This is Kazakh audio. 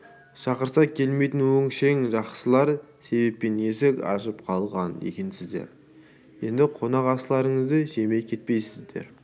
шақырса келмейтін өңшең жақсылар себеппен есік ашып қалған екенсіздер енді қонақасыларыңызды жемей кетпейсіздер